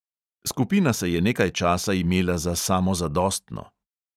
Skupina se je nekaj časa imela za samozadostno.